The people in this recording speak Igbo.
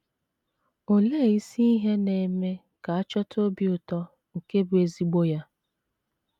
Olee isi ihe na -- eme ka a chọta obi ụtọ nke bụ́ ezigbo ya?